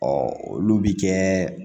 olu bi kɛ